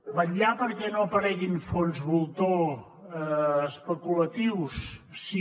vetllar perquè no apareguin fons voltor especulatius sí